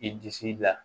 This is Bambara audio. I disi la